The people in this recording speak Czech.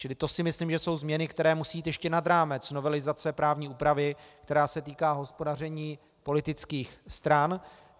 Čili to si myslím, že jsou změny, které musí jít ještě nad rámec novelizace právní úpravy, která se týká hospodaření politických stran.